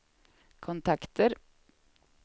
kontakter